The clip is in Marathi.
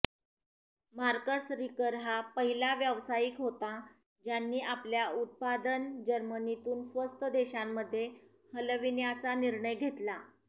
मार्कस रिकर हा पहिला व्यावसायिक होता ज्यांनी आपल्या उत्पादन जर्मनीतून स्वस्त देशांमध्ये हलविण्याचा निर्णय घेतला